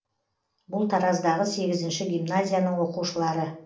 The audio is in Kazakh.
бұл тараздағы сегізінші гимназияның оқушылары